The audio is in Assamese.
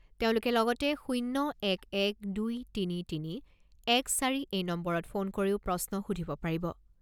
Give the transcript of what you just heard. তেওঁলোকে লগতে শূণ্য এক এক দুই তিনি তিনি এক চাৰি এই নম্বৰত ফোন কৰিও প্ৰশ্ন সুধিব পাৰিব।